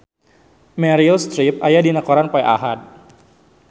Meryl Streep aya dina koran poe Ahad